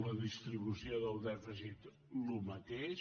la distribució del dèficit el mateix